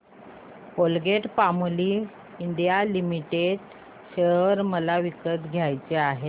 Colgate Palmolive India limited share मला विकत घ्यायचे आहेत